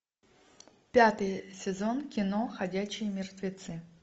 пятый сезон кино ходячие мертвецы